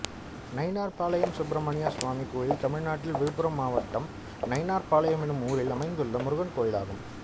நைனார்பளையம் சுப்பிரமணியசாமி கோயில் தமிழ்நாட்டில் விழுப்புரம் மாவட்டம் நைனார்பளையம் என்னும் ஊரில் அமைந்துள்ள முருகன் கோயிலாகும்